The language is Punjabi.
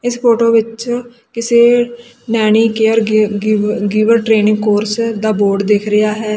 ਇਸ ਫੋਟੋ ਵਿੱਚ ਕਿਸੇ ਨੈਣੀ ਕੇਅਰ ਗਿ ਗਿਵ ਗਿਵਰ ਟਰੇਨਿੰਗ ਕੋਰਸ ਦਾ ਬੋਰਡ ਦਿਖ ਰਿਹਾ ਹੈ।